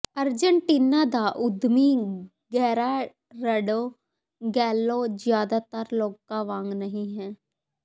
Argentina ਦਾ ਉੱਦਮੀ Gerardo Gallo ਜ਼ਿਆਦਾਤਰ ਲੋਕਾਂ ਵਾਂਗ ਨਹੀਂ ਹੈ